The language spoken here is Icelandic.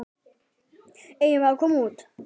Eigum við að koma út?